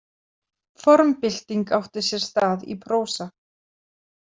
Formbylting átti sér stað í prósa.